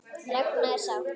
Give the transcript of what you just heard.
Ragna er sátt.